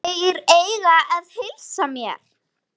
Þeir eiga að heilsa mér.